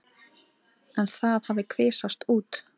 En það hafi kvisast út.